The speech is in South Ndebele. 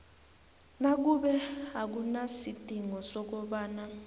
nakube akunasidingo sokobana